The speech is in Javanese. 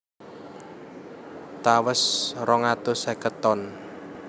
Tawes rong atus seket ton